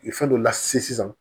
Fɛn dɔ la se sisan